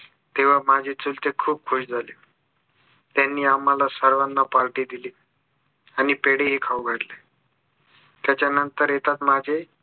तेव्हा माझे चुलते खूप खुश झाले त्यांनी आम्हाला सर्वांना party दिली आणि पेढेही खाऊ घातले त्याच्या नंतर येतात माझे